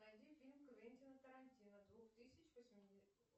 найди фильм квентина тарантино двух тысячи